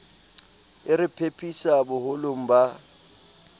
a re phephisa boholong ba